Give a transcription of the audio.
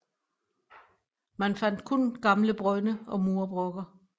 Man fandt kun gamle brønde og murbrokker